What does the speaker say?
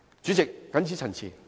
主席，謹此陳辭。